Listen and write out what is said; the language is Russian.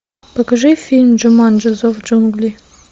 покажи фильм джуманджи зов джунглей